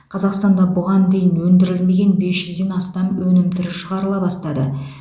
қазақстанда бұған дейін өндірілмеген бес жүзден астам өнім түрі шығарыла бастады